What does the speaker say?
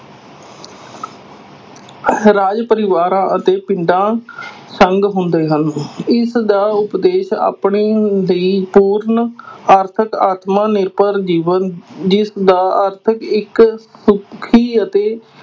ਰਾਜ ਪਰਿਵਾਰਾਂ ਅਤੇ ਪਿੰਡਾਂ ਸੰਗ ਹੁੰਦੇ ਹਨ ਇਸਦਾ ਉਪਦੇਸ਼ ਆਪਣੀ ਦੀ ਪੂਰਨ ਆਰਥਿਕ ਆਤਮ ਨਿਰਭਰ ਜੀਵਨ ਜਿਸਦਾ ਅਰਥ ਇੱਕ ਸੁੱਖੀ ਅਤੇ